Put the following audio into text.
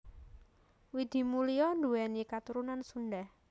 Widi Mulia nduwéni katurunan Sunda